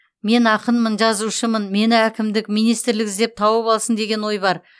мен ақынмын жазушымын мені әкімдік министрлік іздеп тауып алсын деген ой бар